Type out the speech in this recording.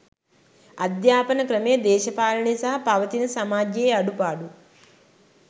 අධ්‍යාපන ක්‍රමය දේශපාලනය සහ පවතින සමාජයේ අඩුපාඩු